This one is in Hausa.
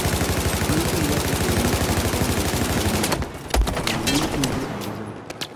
An ce za a kori wasu ma'aikata daga kamfanin nan, yanzu nake ji a wajen